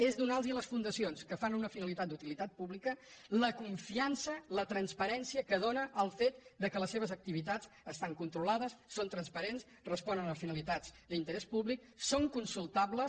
és donar a les fundacions que fan una finalitat d’utilitat pública la confiança la transparèn·cia que dóna el fet que les seves activitats estan con·trolades són transparents responen a finalitats d’in·terès públic són consultables